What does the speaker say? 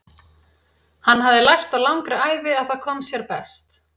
Hann hafði lært á langri ævi að það kom sér best.